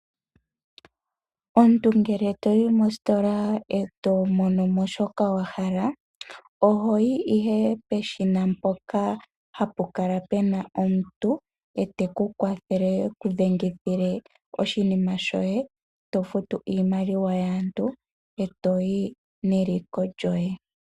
Omuntu ngele toyi mositola, etomono mo shoka wahala, oho yi ihe peshina mpoka hapu kala pena omuntu ngoka teku kwathele oku dhengitha oshinima shoye, to futu oshimaliwa shaantu, etoyi neliko lyoye.